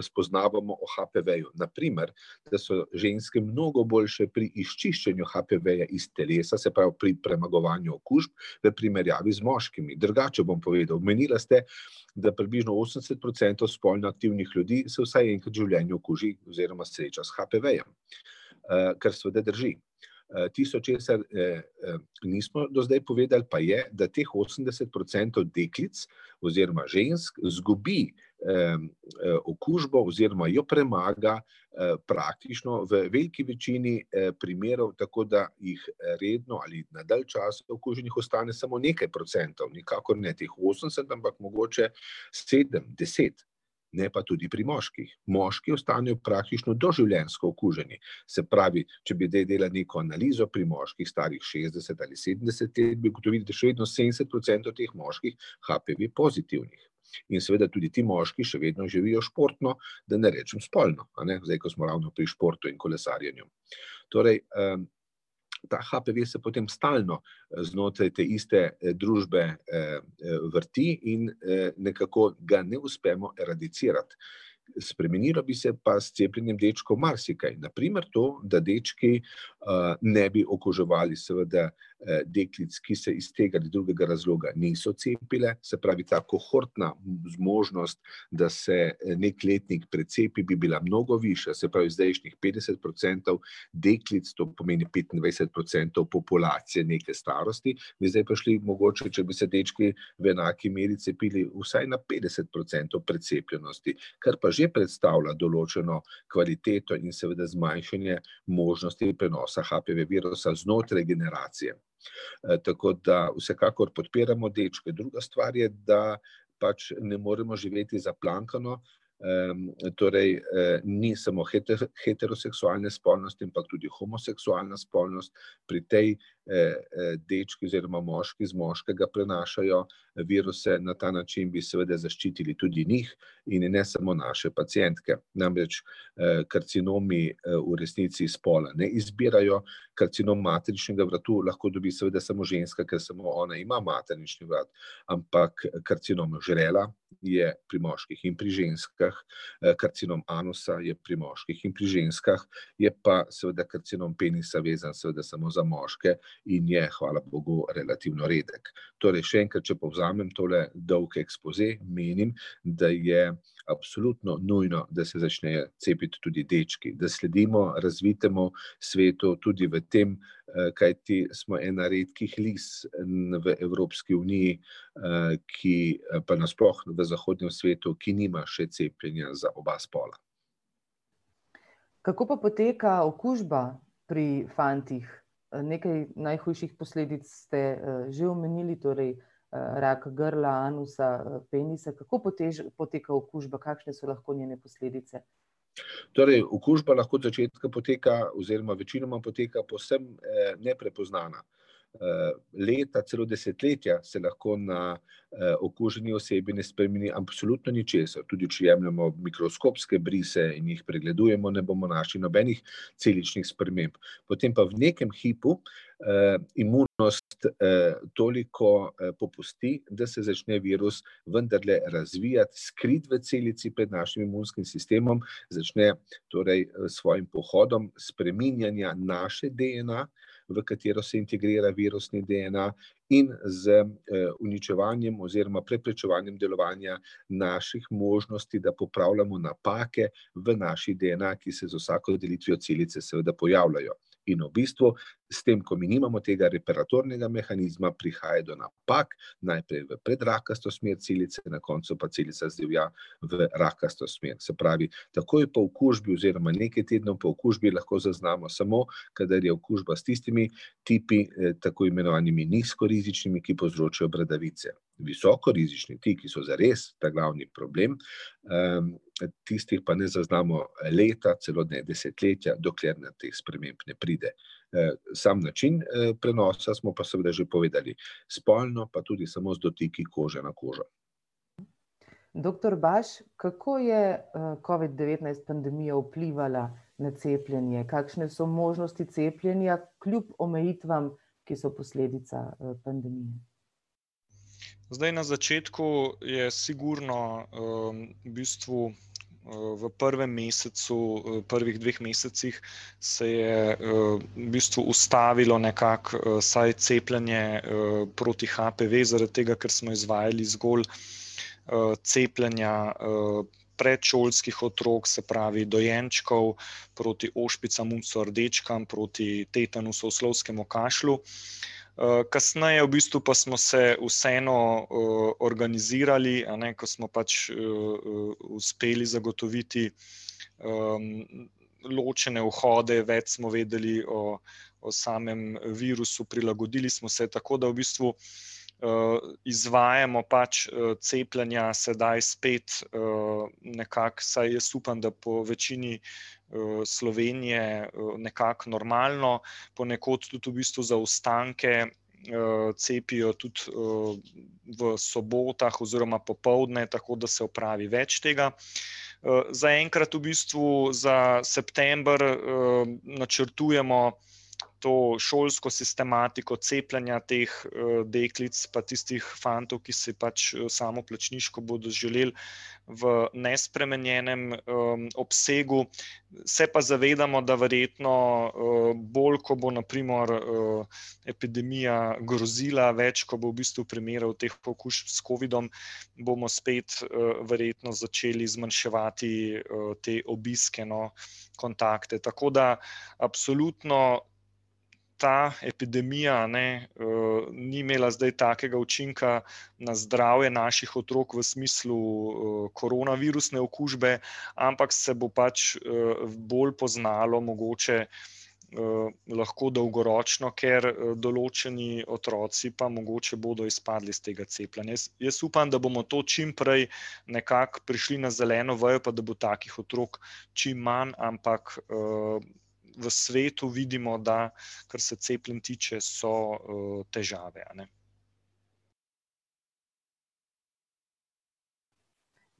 spoznavamo o HPV-ju, na primer, da so ženske mnogo boljše pri izčiščenju HPV-ja iz telesa, se pravi pri premagovanju okužb v primerjavi z moškimi, drugače bom povedal. Omenila ste, da približno osemdeset procentov spolno aktivnih ljudi se vsaj enkrat v življenju okuži oziroma sreča s HPV-jem. Kar seveda drži. Tisto, česar nismo do zdaj povedali, pa je, da teh osemdeset procentov deklic oziroma žensk izgubi okužbo oziroma jo premaga praktično v veliki večini primerov tako, da jih redno ali na dalj časa okuženih ostane samo nekaj procentov, nikakor ne teh osemdeset, ampak mogoče sedem, deset, ne pa tudi pri moških. Moški ostanejo praktično doživljenjsko okuženi, se pravi, če bi zdaj delali neko analizo pri moških stari šestdeset ali sedemdeset let, bi ugotovili, da še vedno sedemdeset procentov teh moških HPV pozitivnih. In seveda tudi ti moški še vedno živijo športno, da ne rečem spolno, a ne, zdaj ko smo ravno pri športu in kolesarjenju. Torej ta HPV se potem stalno znotraj te iste družbe vrti in nekako ga ne uspemo radicirati. Spremenilo bi se pa s cepljenjem dečkov marsikaj, na primer to, da dečki ne bi okuževali seveda deklic, ki se iz tega ali drugega razloga niso cepile, se pravi ta kohortna zmožnost, da se neki letnik precepi, bi bila mnogo višja. Se pravi zdajšnjih petdeset procentov deklic, to pomeni petindvajset procentov populacije neke starosti, bi zdaj prišli mogoče, če bi se dečki v enaki meri cepili, vsaj na petdeset procentov precepljenosti. Kar pa že predstavlja določeno kvaliteto in seveda zmanjšanje možnosti prenosa HPV virusa znotraj generacije. Tako da, vsekakor podpiramo dečke, druga stvar je, da pač ne moremo živeti zaplankano. Torej ni samo heterogene spolnosti, ampak tudi homoseksualna spolnost. Pri tej dečki oziroma moški z moškega prenašajo viruse, na ta način bi seveda zaščitili tudi njih in ne samo naše pacientke. Namreč karcinomi v resnici spola ne izbirajo. Karcinom materničnega vratu seveda lahko dobi samo ženska, ker samo ona ima maternični vrat, ampak karcinom žrela, je pri moških in pri ženskah, karcinom anusa je pri moških in pri ženskah, je pa seveda karcinom penisa vezan seveda samo za moške in je, hvala bogu, relativno redek. Torej še enkrat, če povzamem tole dolgo ekspoze, menim, da je absolutno nujno, da se začnejo cepiti tudi dečki, da sledimo razvitemu svetu tudi v tem, kajti smo ena redkih lis na v Evropski uniji, ki pa na sploh v vzhodnem svetu, ki nima še cepljenja za oba spola. Kako pa poteka okužba pri fantih? Nekaj najhujših posledic ste že omenili, torej rak grla, anusa, penisa, kako poteka okužba, kakšne so lahko njene posledice? Torej okužba lahko od začetka poteka oziroma večinoma poteka povsem neprepoznana. Leta, celo desetletja se lahko na okuženi osebi ne spremeni absolutno ničesar, tudi če jemljemo mikroskopske brise in jih pregledujemo, ne bomo našli nobenih celičnih sprememb. Potem pa v nekem hipu imunost toliko popusti, da se začne virus vendarle razvijati, skrit v celici pred našim imunskim sistemom, začne torej s svojim pohodom spreminjanja naše DNA, v katero se integrira virusni DNA in z uničevanjem oziroma preprečevanjem delovanja naših možnosti, da popravljamo napake v naši DNA, ki se z vsako delitvijo celice seveda pojavljajo. In v bistvu, s tem, ko mi nimamo tega respiratornega mehanizma, prihaja do napak, najprej v predrakasto smer celice, na koncu pa celica zdivja v rakasto smer, se pravi takoj po okužbi oziroma nekaj tednov po okužbi lahko zaznamo samo, kadar je okužba s tistimi tipi tako imenovanimi nizko rizičnimi, ki povzročajo bradavice. Visokorizični, ti, ki so zares ta glavni problem, tistih pa ne zaznamo leta, celo ne desetletja, dokler do teh sprememb ne pride. Samo način prenosa smo pa seveda že povedali, spolno pa tudi samo z dotiki kože na kožo. Doktor Baš, kako je covid-devetnajst pandemija vplivala na cepljenje, kakšne so možnosti cepljenja, kljub omejitvam, ki so posledica pandemije? Zdaj na začetku je sigurno v bistvu v prvem mesecu, prvih dveh mesecih, se je v bistvu ustavilo nekako, saj cepljenje proti HPV, zaradi tega, ker smo izvajali zgolj cepljenja predšolskih otrok, se pravi dojenčkov, proti ošpicam, mumps rdečkam, proti tetanusu, oslovskemu kašlju. Kasneje v bistvu pa smo se vseeno organizirali, a ne, ko smo pač uspeli zagotoviti ločene vhode, več smo vedeli o o samem virusu, prilagodili smo se, tako da v bistvu izvajamo pač cepljenja sedaj spet nekako, vsaj jaz upam, da po večini Slovenije nekako normalno. Ponekod tudi v bistvu zaostanke cepijo tudi v sobotah oziroma popoldne, tako da se opravi več tega. Zaenkrat v bistvu za september načrtujemo to šolsko sistematiko cepljenja teh deklic pa tistih fantov, ki si pač samoplačniško bodo želeli v nespremenjenem obsegu. Se pa zavedamo, da verjetno bolj, ko bo na primer epidemija grozila, več, ko bo v bistvu primerov teh okužb s covidom, bomo spet verjetno začeli zmanjševati te obiske, no, kontakte, tako da absolutno ta epidemija, a ne, ni imela zdaj takega učinka na zdravje naših otrok v smislu koronavirusne okužbe, ampak se bo pač bolj poznalo mogoče lahko dolgoročno, ker določeni otroci pa mogoče bodo izpadli iz tega cepljenja, jaz, jaz upam, da bomo to čim prej nekako prišli na zeleno vejo pa da bo takih otrok čim manj, ampak v svetu vidimo, da kar se cepljenj tiče so težave, a ne.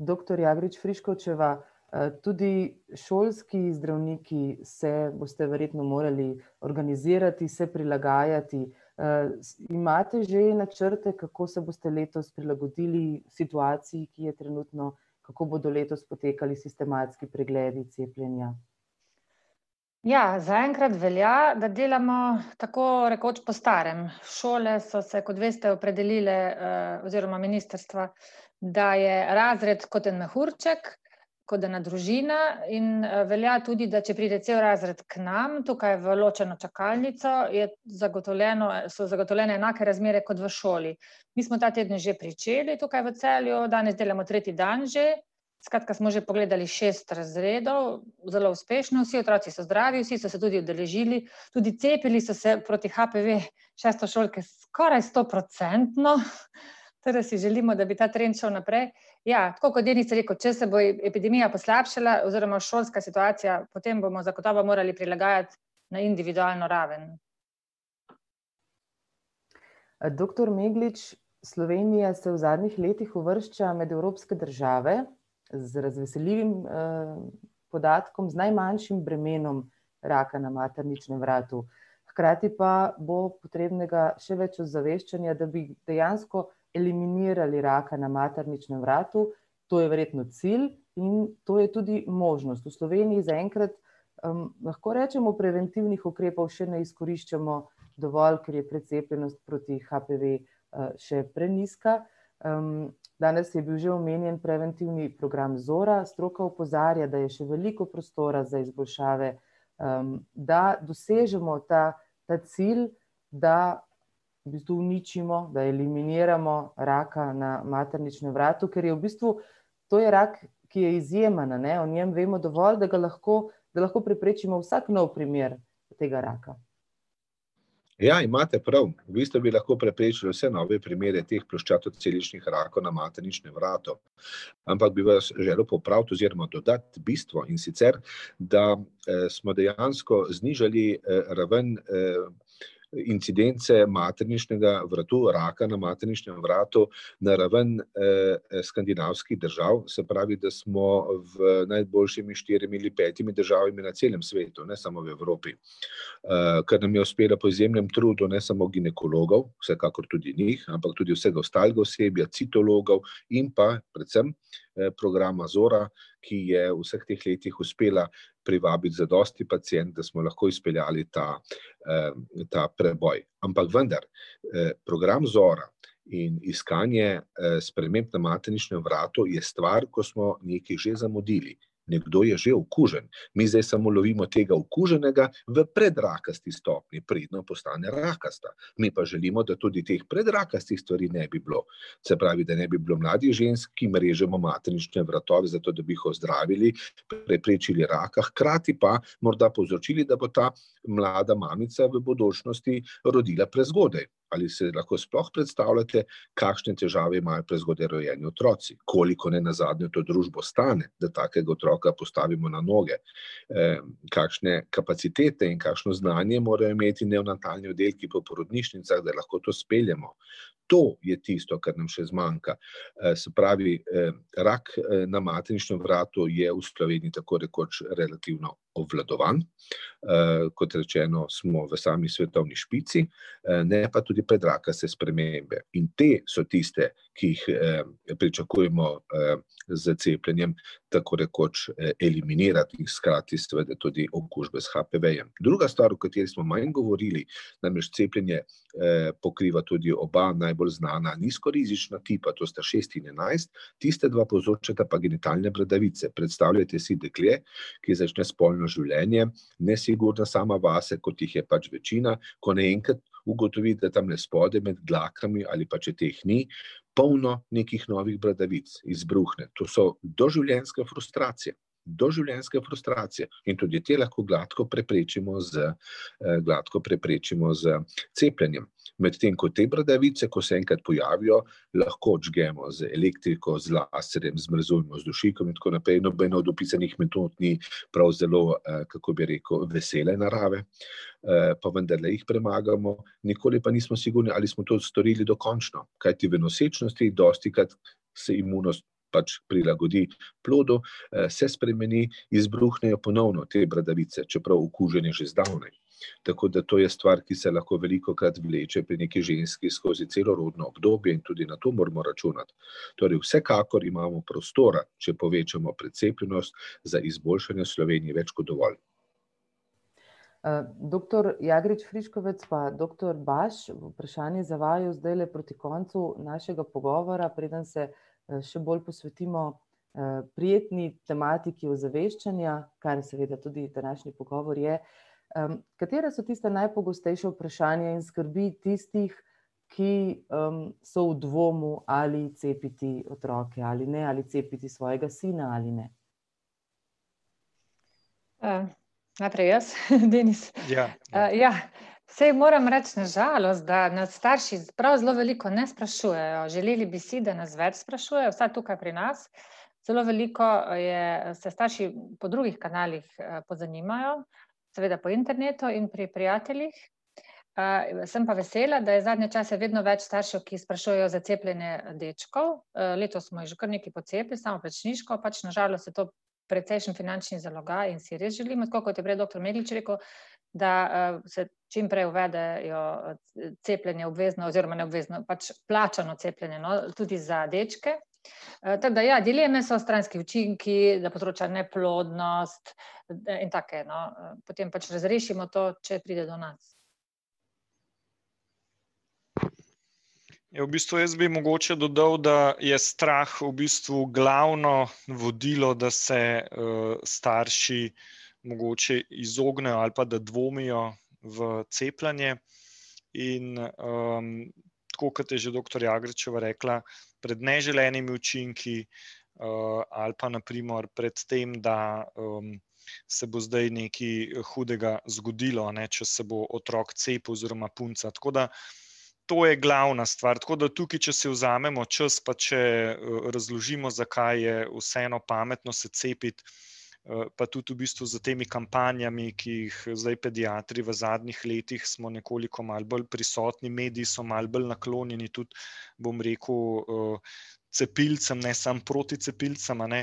Doktor Jagrič Friškovčeva, tudi šolski zdravniki se boste verjetno morali organizirati, se prilagajati. Imate že načrte, kako se boste letos prilagodili situaciji, ki je trenutno, kako bodo letos potekali sistematski pregledi, cepljenja? Ja, zaenkrat velja, da delamo tako rekoč po starem, šole so se, kot veste, opredelile oziroma ministrstva, da je razred kot en mehurček, kot ena družina, in velja tudi, da če pride cel razred k nam, tukaj v ločeno čakalnico, je zagotovljeno, so zagotovljene enake razmere kot v šoli. Mi smo ta teden že pričeli tukaj v Celju, danes delamo tretji dan že, skratka smo že pogledali šest razredov. Zelo uspešno, vsi otroci so zdravi, vsi so se tudi udeležili, tudi cepili so se proti HPV, šestošolke skoraj stoprocentno, tako da si želimo, da bi ta trend šel naprej. Ja, tako kot je Denis rekel, če se bo epidemija poslabšala oziroma šolska situacija, potem bomo zagotovo morali prilagajati na individualno raven. Doktor Meglič, Slovenija se v zadnjih letih uvršča med evropske države, z razveseljivim podatkom, z najmanjšim bremenom raka na materničnem vratu. Hkrati pa bo potrebnega še več ozaveščenja, da bi dejansko eliminirali raka na materničnem vratu, to je verjetno cilj in to je tudi možnost, v Sloveniji zaenkrat lahko rečemo, preventivnih ukrepov še ne izkoriščamo dovolj, ker je precepljenost proti HPV še prenizka. Danes je bil že omenjen preventivni program Zora, stroka opozarja, da je še veliko prostora za izboljšave, da dosežemo ta ta cilj, da v bistvu uničimo, da eliminiramo raka na materničnem vratu, ker je v bistvu, to je rak, ki je izjemen, a ne, o njem vemo dovolj, da ga lahko, da lahko preprečimo vsak nov primer tega raka. Ja, imate prav. V bistvu bi lahko preprečili vse nove primere teh ploščatoceličnih rakov na materničnem vratu. Ampak bi vas želel popraviti oziroma dodati bistvo, in sicer, da smo dejansko znižali ravno incidence materničnega vratu, raka na materničnem vratu na raven skandinavskih držav, se pravi, da smo v najboljšimi štirimi ali petimi državami na celem svetu, ne samo v Evropi. Kar nam je uspelo po izjemnem trudu, ne samo ginekologov, vsekakor tudi njih, ampak tudi vsega ostalega osebja, citologov, in pa predvsem programa Zora, ki je v vseh teh letih uspela privabiti zadosti pacientk, da smo lahko izpeljali ta ta preboj. Ampak vendar, program Zora in iskanje sprememb na materničnem vratu je stvar, ko smo nekaj že zamudili. Nekdo je že okužen. Mi zdaj samo lovimo tega okuženega v predrakasti stopnji, predno postane rakasta, mi pa želimo, da tudi teh predrakastih stvari ne bi bilo. Se pravi, da ne bi bilo mladih žensk, ki jim režemo maternične vratove, zato da bi jih ozdravili, preprečili raka, hkrati pa morda povzročili, da bo ta mlada mamica v bodočnosti, rodila prezgodaj. Ali se lahko sploh predstavljate, kakšne težave imajo prezgodaj rojeni otroci? Koliko nenazadnje to družbo stane, da takega otroka postavimo na noge? Kakšne kapacitete in kakšno znanje morajo imeti neonatalni oddelki po porodnišnicah, da lahko to speljemo? To je tisto, kar nam še zmanjka. Se pravi rak na materničnem vratu je v Sloveniji tako rekoč relativno obvladovan, kot rečeno, smo v sami svetovni špici, na pa tudi predrakaste spremembe in te so tiste, ki jih pričakujemo s cepljenjem tako rekoč eliminirati in hkrati seveda tudi okužbe s HPV-jem. Druga stvar, o kateri smo manj govorili, namreč cepljenje pokriva tudi oba najbolj znana nizko rizična tipa, to sta šest in enajst, tista dva povzročata pa genitalne bradavice, predstavljajte si dekle, ki začne spolno življenje, nesigurna sama vase, kot jih je pač večina, ko naenkrat ugotovi, da tamle spodaj, med dlakami, ali pač če teh ni, polno nekih novih bradavic izbruhne, to so doživljenjska frustracija, doživljenjska frustracija. In tudi te lahko gladko preprečimo z, gladko preprečimo z cepljenjem. Medtem ko te bradavice, ko se enkrat pojavijo, lahko odžgemo z elektriko, z laserjem, zmrzujemo z dušikom in tako naprej, nobena od opisanih metod ni prav zelo kako bi rekel, vesele narave, pa vendarle jih premagamo. Nikoli pa nismo sigurni, ali smo to storili dokončno, kajti v nosečnosti dostikrat se imunost pač prilagodi plodu, se spremeni, izbruhnejo ponovno te bradavice, čeprav okužen je že zdavnaj. Tako da to je stvar, ki se lahko velikokrat vleče, pri neki ženski skozi celo rodno obdobje in tudi na to moramo računati. Torej vsekakor imamo prostora, če povečamo precepljenost, za izboljšanje v Sloveniji več kot dovolj. Doktor Jagrič Friškovec pa doktor Baš, vprašanje za vaju zdajle proti koncu našega pogovora, preden se še bolj posvetimo prijetni tematiki ozaveščanja, kar seveda tudi današnji pogovor je. Katere so tista najpogostejša vprašanja in skrbi tistih, ki so v dvomu ali cepiti otroke ali ne ali cepiti svojega sina ali ne? Najprej jaz, Denis? Ja. Ja, saj moram reči, na žalost, da nas starši prav zelo veliko ne sprašujejo, želeli bi si, da nas več sprašujejo, vsaj tukaj pri nas. Zelo veliko je se starši po drugih kanalih pozanimajo, seveda po internetu in pri prijateljih. Sem pa vesela, da je zadnje čase vedno več staršev, ki sprašujejo za cepljenje dečkov, letos smo jih že kar nekaj pocepili samoplačniško pač, na žalost je to precejšen finančni zalogaj in si res želimo, tako kot je prej doktor Meglič rekel, da se čim prej uvedejo cepljenje obvezno oziroma ne obvezno, pač plačano cepljenje, no, tudi za dečke. Tako da ja, dileme so stranski učinki, ki povzročajo neplodnost, in take no potem pač razrešimo to, če pride do nas. Ja, v bistvu jaz bi mogoče dodal, da je strah v bistvu glavno vodilo, da se starši mogoče izognejo ali pa da dvomijo v cepljenje. In tako kot je že doktor Jagričeva rekla, pred neželenimi učinki ali pa na primer pred tem, da se bo zdaj nekaj hudega zgodilo, ne, če se bo otrok cepil oziroma punca, tako da. To je glavna stvar, tako da tukaj, če si vzamemo čas pa če razložimo, zakaj je vseeno pametno se cepiti, pa tudi v bistvu za temi kampanjami, ki jih zdaj pediatri v zadnjih letih, smo nekoliko malo bolj prisotni, mediji so malo bolj naklonjeni tudi, bom rekel cepilcem, ne samo proticepilcem, a ne,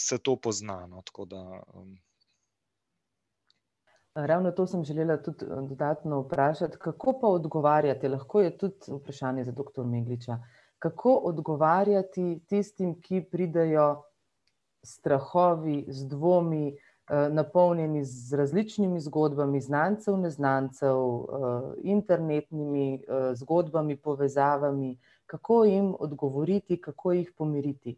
se to pozna, no, tako da Ravno to sem želela tudi dodatno vprašati, kako pa odgovarjate, lahko je tudi vprašanje za doktor Megliča. Kako odgovarjati tistim, ki pridejo s strahovi, z dvomi, napolnjeni z različnimi zgodbami znancev, neznancev, internetnimi zgodbami, povezavami. Kako jim odgovoriti, kako jih pomiriti?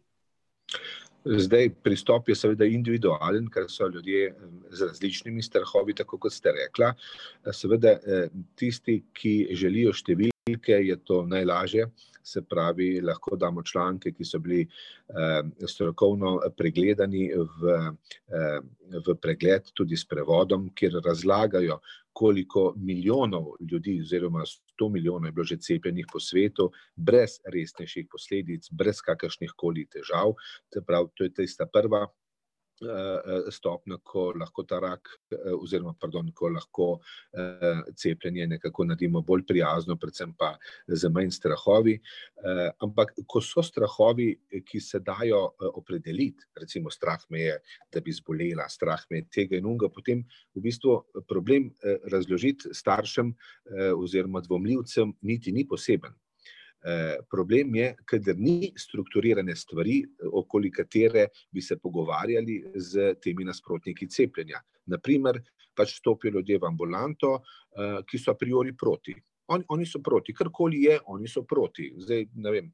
Zdaj pristop je seveda individualen, ker so ljudje z različnimi strahovi, tako kot ste rekla. Seveda tisti, ki želijo številke, je to najlažje. Se pravi, lahko damo članke, ki so bili strokovno pregledani, v v pregled tudi s prevodom, kjer razlagajo, koliko milijonov ljudi, oziroma sto milijonov, je bilo že cepljenih po svetu, brez resnejših posledic, brez kakršnihkoli težav, se pravi, to je tista prva stopnja, ko lahko ta rak, oziroma pardon, ko lahko cepljenje nekako naredimo bolj prijazno, predvsem pa z manj strahovi. Ampak ko so strahovi, ki se dajo opredeliti, recimo, strah me je, da bi zbolela, strah me je tega in onega, potem v bistvu problem razložiti staršem oziroma dvomljivcem niti ni poseben. Problem je, kadar ni strukturirane stvari, okoli katere bi se pogovarjali s temi nasprotniki cepljenja. Na primer, pač stopijo ljudje v ambulanto, ki so priori proti. oni so proti, karkoli je, oni so proti. Zdaj ne vem,